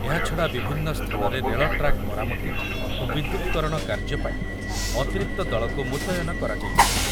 ଏହାଛଡ଼ା ବିଭିନ୍ନ ସ୍ଥାନରେ ରେଳ ଟ୍ରାକ୍ ମରାମତି ଓ ବିଦ୍ୟୁତ୍‌କରଣ କାର୍ଯ୍ୟ ପାଇଁ ଅତିରିକ୍ତ ଦଳକୁ ମୁତୟନ କରାଯାଇଛି ।